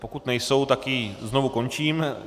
Pokud nejsou, tak ji znovu končím.